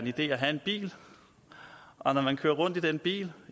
idé at have en bil og når man kører rundt i den bil